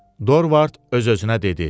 Dorvard öz-özünə dedi: